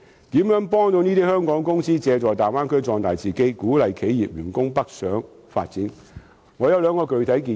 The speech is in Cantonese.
如何幫助香港公司借助大灣區壯大自己，鼓勵企業員工北上發展，我有兩項具體建議。